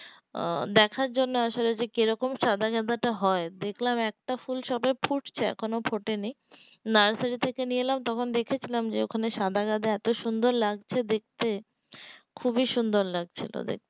ও দেখার জন্য আসলে যে কিরকম সাদা গাঁদা টা হয় দেখলাম একটা ফুল সবে ফুটছে এখনো ফোটেনি নার্সারি থেকে নিয়ে এলাম তখন দেখেছিলাম যে ওখানে সাদা গাঁদা এতো সুন্দর লাগছে দেখতে খুবই সুন্দর লাগছে তো দেখতে